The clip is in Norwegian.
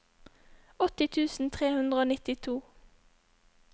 åtti tusen tre hundre og nittito